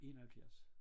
71